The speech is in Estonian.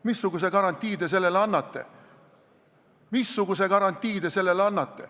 Missuguse garantii te annate?